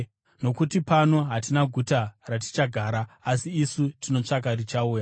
Nokuti pano hatina guta ratichagara, asi isu tinotsvaka richauya.